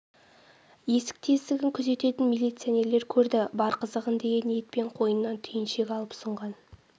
есік-тесігін күзететін милиционерлер көрді бар қызығын деген ниетпен қойнынан түйіншек алып ұсынған